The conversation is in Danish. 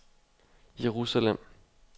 Jerusalem